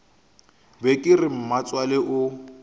be ke re mmatswale o